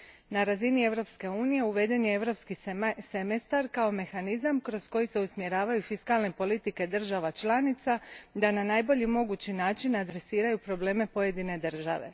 Na razini Europske unije uveden je Europski semestar, kao mehanizam kroz koji se usmjeravaju fiskalne politike država članica da na najbolji mogući način adresiraju probleme pojedine države.